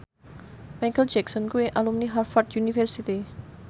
Micheal Jackson kuwi alumni Harvard university